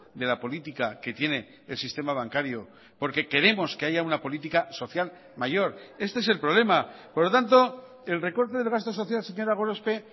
de la política que tiene el sistema bancario porque queremos que haya una política social mayor este es el problema por lo tanto el recorte del gasto social señora gorospe